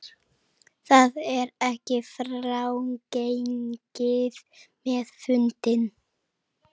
Það er ekki frágengið með fundinn